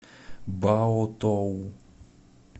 баотоу